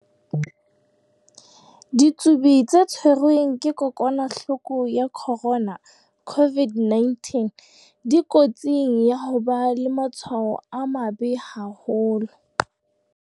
Ditsubi tse tshwerweng ke kokwa-nahloko ya corona COVID-19 dikotsing ya ho ba le matshwao a mabe haholo.